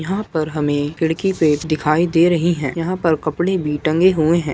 यहाँ पर हमें खिड़की पे दिखाई दे रही हैं यहाँ पे कपड़े भी टंगे हुए हैं।